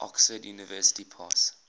oxford university press